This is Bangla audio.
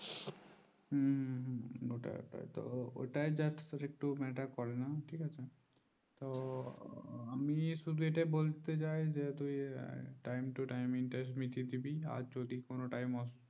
হম ওটা ওটা ওটা দেখ matter করে না ঠিক আছে তো আমি সুধু এটা এটা বলতে চাই যে time to time interest মিটিয়ে ডিবি আর যদি কোনো time